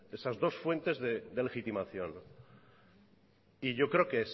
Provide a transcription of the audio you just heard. esas dos fuentes de legitimación y yo creo que